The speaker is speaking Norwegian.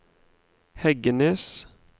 Heggenes